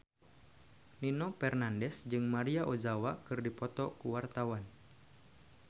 Nino Fernandez jeung Maria Ozawa keur dipoto ku wartawan